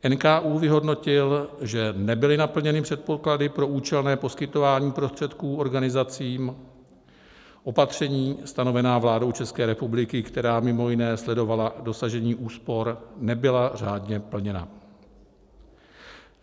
NKÚ vyhodnotil, že nebyly naplněny předpoklady pro účelné poskytování prostředků organizacím, opatření stanovená vládou České republiky, která mimo jiné sledovala dosažení úspor, nebyla řádně plněna.